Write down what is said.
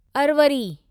Arvari